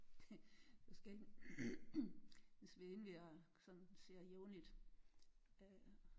Vi skal ind vi har en vi sådan ser jævnligt øh